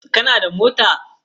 Kana da mota?